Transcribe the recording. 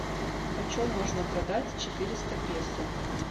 почем можно продать четыреста песо